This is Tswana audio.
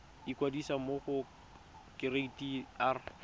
ikwadisa mo go kereite r